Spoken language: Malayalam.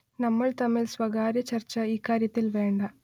നമ്മൾ തമ്മിൽ സ്വകാര്യ ചർച്ച ഇക്കാര്യത്തിൽ വേണ്ട